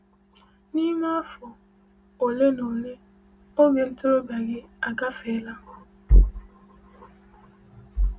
N’ime afọ ole na ole, oge ntorobịa gị agafela.